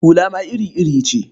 Hula ma iri-iri ce.